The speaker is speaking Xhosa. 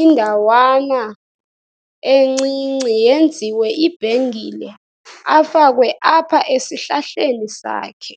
indawana encinci yenziwe ibhengile afakwe apha esihlahleni sakhe.